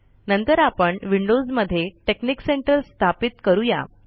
नंतर आपण विंडोज मध्ये टेकनिक सेंटर स्थापित करूया